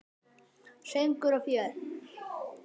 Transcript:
Söngur og fjör.